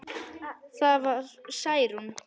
Það var Særún.